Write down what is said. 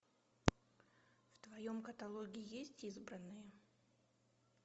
в твоем каталоге есть избранные